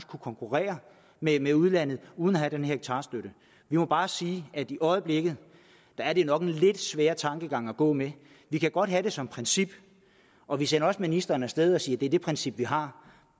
kunne konkurrere med udlandet uden at have den hektarstøtte vi må bare sige at i øjeblikket er det nok en lidt svær tankegang at gå med vi kan godt have det som princip og vi sender også ministeren af sted og siger at det er det princip vi har